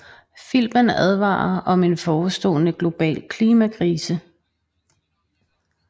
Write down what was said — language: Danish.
Filmen advarer om en forestående global klimakrise